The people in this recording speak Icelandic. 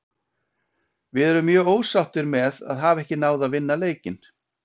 Við erum mjög ósáttir með að hafa ekki náð að vinna leikinn.